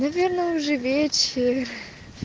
наверное уже вечер